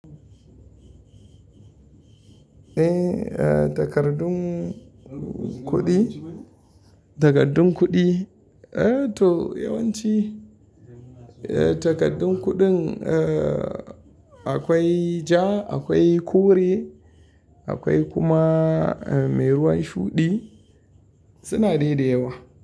Eh, takardun kuɗi, takardun kuɗi eh to yawanci eh takardun kuɗin eh akwai ja, akwai kore, akwai kuma mai ruwan shuɗi suna daida yawa.